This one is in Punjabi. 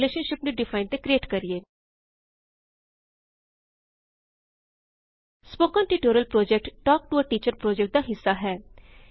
ਰਿਲੇਸ਼ਨਸ਼ਿਪ ਡਿਫਾਇਨ ਅਤੇ ਕਰਿਏਟ ਕਰੇਂ spoken tutorial project talk to a teacher project ਦਾ ਰਿੱਸਾ ਹੈ